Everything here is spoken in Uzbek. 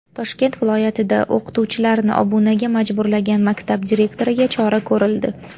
Toshkent viloyatida o‘qituvchilarni obunaga majburlagan maktab direktoriga chora ko‘rildi.